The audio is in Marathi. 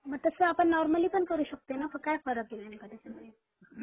तस आपण नॉर्मली पण करू शकतो न काय फरक आहे नेमका त्याच्यामध्ये